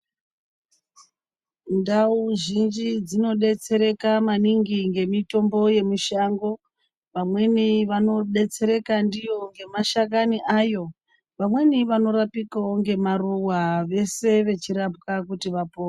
Ndau zhinji dzinodetsereka maningi nemitombo yemushango vamweni vanodetsereka ndiyo nemashakani ayo vamweni vanorapikawo nemaruva vese vachirapwa kuti vapore.